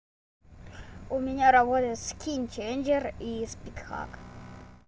у меня работа скинченджер и спидхак